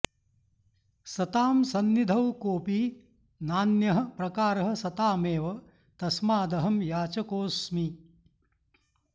सतां संनिधौ कोऽपि नान्यः प्रकारः सतामेव तस्मादहं याचकोऽस्मि